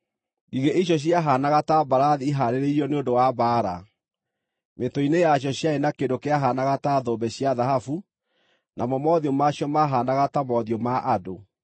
Ngigĩ icio ciahaanaga ta mbarathi ihaarĩirio nĩ ũndũ wa mbaara. Mĩtwe-inĩ yacio ciarĩ na kĩndũ kĩahaanaga ta thũmbĩ cia thahabu, namo mothiũ maacio maahaanaga ta mothiũ ma andũ.